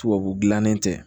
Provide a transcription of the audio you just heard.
Tubabu gannen tɛ